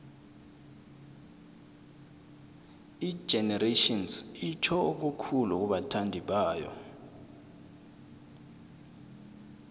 igenerations itjho okukhulu kubathandibayo